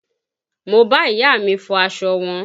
Mo bá ìyá mi fọ aṣọ wọn